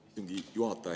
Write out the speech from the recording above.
Istungi juhataja!